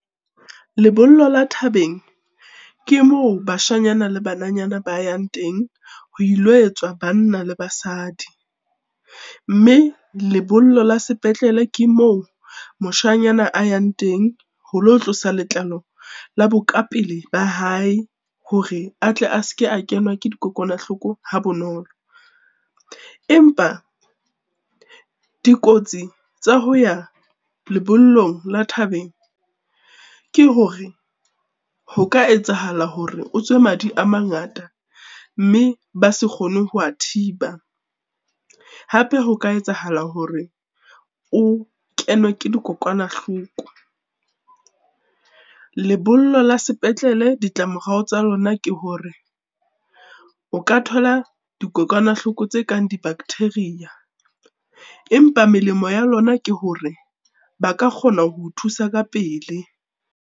Lebollo la thabeng, ke moo bashanyana le bananyana ba yang teng ho ilo etswa banna le basadi. Mme lebollo la sepetlele ke moo moshanyana a yang teng ho lo tlosa letlalo la bokapele ba hae hore a tle a se ke a kenwa ke dikokwanahloko ha bonolo. Empa dikotsi tsa ho ya lebollong la thabeng ke hore, ho ka etsahala hore o tswe madi a mangata mme ba se kgone ho wa thiba, hape ho ka etsahala hore o kenwe ke dikokwanahloko. Lebollo la sepetlele ditla-morao tsa lona ke hore, o ka thola dikokwanahloko tse kang di-bacteria empa melemo ya lona ke hore ba ka kgona ho o thusa ka pele.